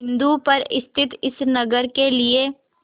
बिंदु पर स्थित इस नगर के लिए